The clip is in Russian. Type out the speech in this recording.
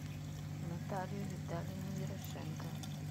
наталию витальевну ерошенко